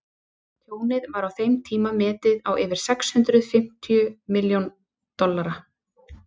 tjónið var á þeim tíma metið á yfir sex hundruð fimmtíu milljón dollara